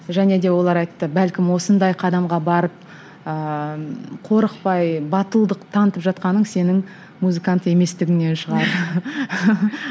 және де олар айтты бәлкім осындай қадамға барып ыыы қорықпай батылдық танытып жатқаның сенің музыкант еместігіңнен шығар